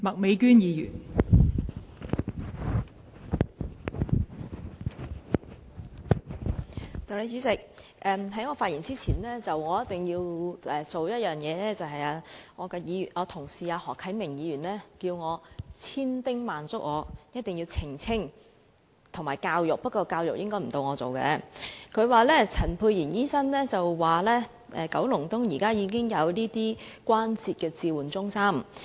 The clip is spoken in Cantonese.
代理主席，我在進一步發言前，一定要做一件事，我的同事何啟明議員對我千叮萬囑，一定要澄清和教育——不過，教育應該輪不到我來做——他說陳沛然議員表示，九龍東現時已經設有關節置換中心。